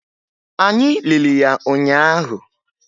Anyị lili ya ụnyaahụ